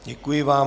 Děkuji vám.